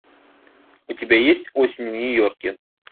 у тебя есть осень в нью йорке